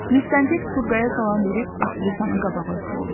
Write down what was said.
Müstəntiq Turğaya salam verib aktrisanı qabağa oturddu.